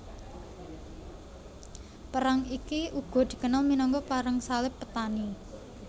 Perang iki uga dikenal minangka Perang Salib Petani